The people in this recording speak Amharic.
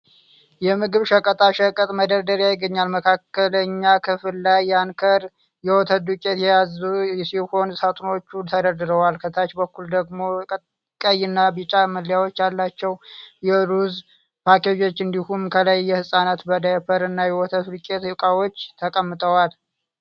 የምግብ ሸቀጣ ሸቀጥ መደርደሪያ ይገኛል። መካከለኛ ክፍል ላይ የአንከር (Anchor) የወተት ዱቄት የያዙ ሰማያዊ ጣሳዎች ተደርድረዋል። ከታች በኩል ደግሞ ቀይና ቢጫ መለያዎች ያላቸው የሩዝ ፓኬጆች እንዲሁም ከላይ የህጻናት ዳይፐርና የወተት ዱቄት እቃዎች ተቀምጠዋል።